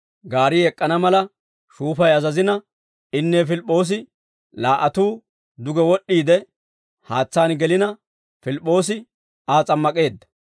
Gaari ek'k'ana mala shuufay azazina, inne Pilip'p'oosi laa"atuu duge wod'd'iide, haatsaan gelina Pilip'p'oosi Aa s'ammak'eedda.